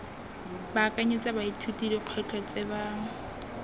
baakanyetsa baithuti dikgwetlho tse ba